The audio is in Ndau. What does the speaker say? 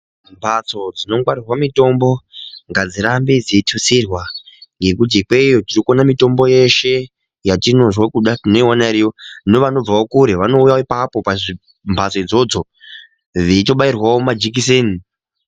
Mbatso dzinongwarirwa mutombo ngadzirambe dzeyitutsirwa ngekuti ipeyo tiri kuona mitombo yeshe yatinozwa kuda tinoiwana iriyo nevanobvawo kure vanouyawo ipapo pazvimbatso idzodzo veito bayirwawo majikiseni.